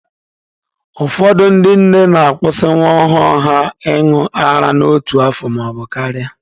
Ụfọdụ ndị nne na-akwusị nwa ọhụrụ ha ịñụ ara n'otu afọ maọbụ karịa.